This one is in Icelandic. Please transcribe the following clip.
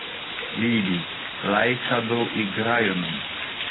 Bíbí, lækkaðu í græjunum.